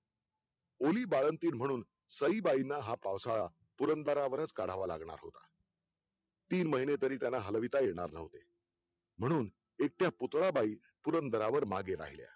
ओली बाळंतीण म्हणून सईबाईंना हा पावसाळा पुरंदरावरच काढावा लागला तीन महिने तरी त्यांना हलविता येणार नव्हते म्हणून एकट्या पुतळळाबाई पुरंदरावर मागे राहिल्या